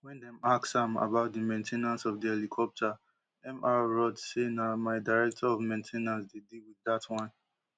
wen dem ask am about di main ten ance of di helicopter mr roth say na my director of main ten ance dey deal with dat wan